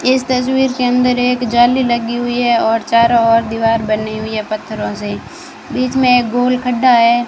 इस तस्वीर के अंदर एक जाली लगी हुई है और चारों ओर दीवार बनी हुई है पत्थरों से बीच में गोल खड्डा है।